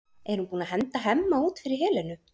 Er hún búin að henda Hemma út fyrir Helenu?